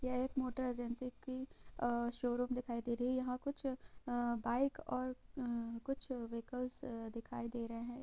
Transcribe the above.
यह एक motor agency की अ शोरूम दिखाई दे रही है| यहाँ कुछ अ बाइक और अ कुछ वाहिकल्स दिखाई दे रहे हैं।